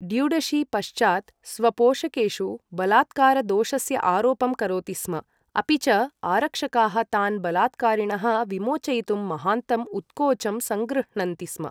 ड्युडशी पश्चात् स्वपोषकेषु बलात्कारदोषस्य आरोपं करोति स्म, अपि च आरक्षकाः तान् बलात्कारिणः विमोचयितुं महान्तम् उत्कोचं संगृह्णन्ति स्म।